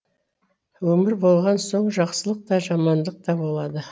өмір болған соң жақсылық та жамандық та болады